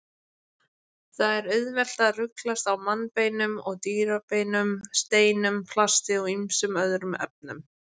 Margir telja að í trúarlegri tónlist hans hafi barokktónlist náð hápunkti sínum.